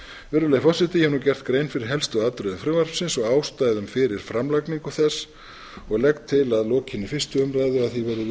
virðulegi forseti ég hef nú gert grein fyrir helstu atriðum frumvarpsins og ástæðum fyrir framlagningu þess og legg til að lokinni fyrstu